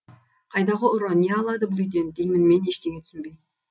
қайдағы ұры не алады бұл үйден деймін мен ештеңе түсінбей